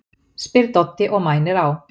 spyr Doddi og mænir á